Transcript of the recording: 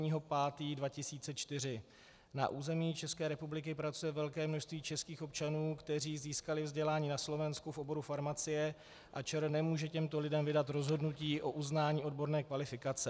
Na území České republiky pracuje velké množství českých občanů, kteří získali vzdělání na Slovensku v oboru farmacie a ČR nemůže těmto lidem vydat rozhodnutí o uznání odborné kvalifikace.